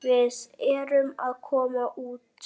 Við erum að koma út.